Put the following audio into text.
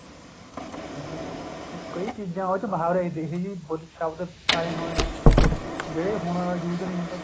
ਠੀਕ ਹੈ ਹੁਣ ਕਈ ਚੀਜ਼ਾਂ ਉਹ ਚ ਮੁਹਾਵਰੇ ਇਹੀ ਜੀ ਸ਼ਬਦ ਪਾਏ ਹੋਏ ਹੈ ਜਿਹੜੇ ਹੁਣ use ਨਹੀ ਹੁੰਦੇ